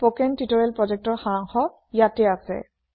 spoken tutorial projectৰ সাৰাংশ ইয়াতে আছে